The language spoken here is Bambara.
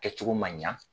Kɛcogo man ɲa